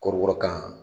Kɔrɔbɔrɔkan